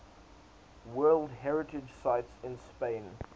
world heritage sites in spain